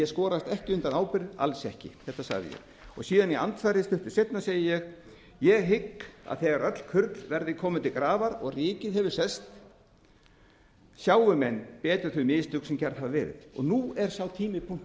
skorast ekki undan ábyrgð alls ekki þetta sagði ég síðan segi ég stuttu seinna í andsvari ég hygg að þegar öll kurl verða komin til grafar og ríkið hefur selt sjái menn betur þau mistök sem gerð hafa verið og nú er sá tími